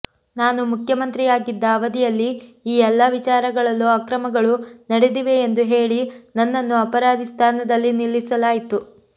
ನಾನು ಮುಖ್ಯಮಂತ್ರಿಯಾಗಿದ್ದ ಅವಧಿಯಲ್ಲಿ ಈ ಎಲ್ಲಾ ವಿಚಾರಗಳಲ್ಲೂ ಅಕ್ರಮಗಳು ನಡೆದಿವೆ ಎಂದು ಹೇಳಿ ನನ್ನನ್ನು ಅಪರಾಧಿ ಸ್ಥಾನದಲ್ಲಿ ನಿಲ್ಲಿಸಲಾಯಿತು